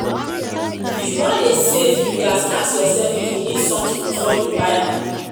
if you wan dey save you ghas ask yourself if you need something before you buy um am